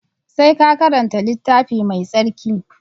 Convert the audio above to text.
Sai ka karanta littafi mai tsarki